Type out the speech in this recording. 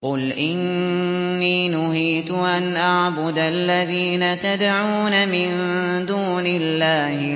۞ قُلْ إِنِّي نُهِيتُ أَنْ أَعْبُدَ الَّذِينَ تَدْعُونَ مِن دُونِ اللَّهِ